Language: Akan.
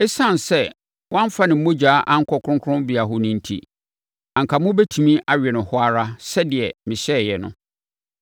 Esiane sɛ wɔamfa ne mogya ankɔ kronkronbea hɔ no enti, anka mobɛtumi awe no hɔ ara sɛdeɛ mehyɛeɛ no.’ ”